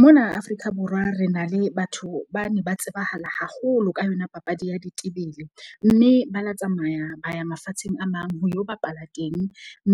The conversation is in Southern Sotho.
Mona Afrika Borwa re na le batho bane ba tsebahala haholo ka yona papadi ya ditebele. Mme ba la tsamaya ba ya mafatsheng a mang ho yo bapala teng.